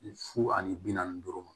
Fu ani bi naani duuru ma